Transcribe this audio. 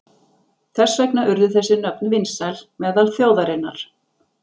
Þess vegna urðu þessi nöfn vinsæl meðal þjóðarinnar.